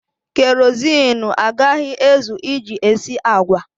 Kerọsinụ agaghị ezu iji esi agwa.